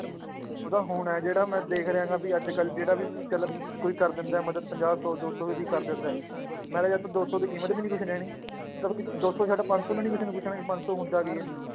ਉਹ ਤਾਂ ਹੁਣ ਹੈ ਜਿਹੜਾ ਮੈਂ ਦੇਖ ਰਿਹਾਂ ਗਾ ਵੀ ਅੱਜ ਕੱਲ੍ਹ ਜਿਹੜਾ ਵੀ ਚੱਲ ਕੋਈ ਕਰ ਦਿੰਦਾ ਹੈ ਮਦਦ ਪੰਜਾਹ ਸੌ ਦੋ ਸੌ ਦੀ ਕਰ ਜਾਂਦਾ ਹੈ ਦੋ ਸੌ ਦੀ ਕੀਮਤ ਵੀ ਨੀ ਕੁਛ ਰਹਿਣੀ ਦੋ ਸੌ ਛੱਡ ਪੰਜ ਸੌ ਨੂੰ ਨੀ ਕਿਸੇ ਨੇ ਪੁੱਛਣਾ ਕਿ ਪੰਜ ਸੌ ਹੁੰਦਾ ਕੀ ਹੈ,